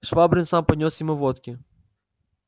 швабрин сам поднёс ему водки